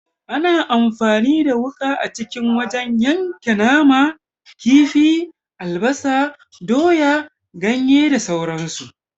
Ana amfani da wuka a kicin wajen yanka nama, kifi, albasa, doya, ganye da sauran su.